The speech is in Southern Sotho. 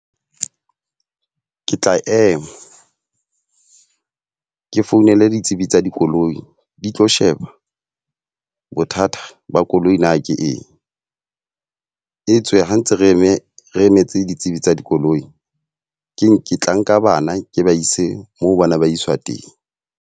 Ke tla ema ke founele ditsebi tsa dikoloi, di tlo sheba bothata ba koloi na ke eng. E tswe ha ntse re eme re emetse ditsebi tsa dikoloi. Keng ke tla nka bana ke ba ise moo bana ba iswa teng.